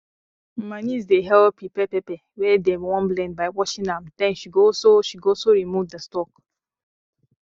my niece dey help prepare pepper wey dem wan blend by washing am den she go also she go also remove di stalk